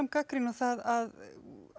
gagnrýni á það að